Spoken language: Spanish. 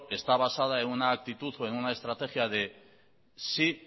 está basada en una actitud o en una estrategia de sí